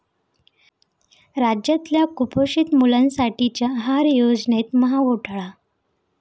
राज्यातल्या कुपोषित मुलांसाठीच्या आहार योजनेत महाघोटाळा!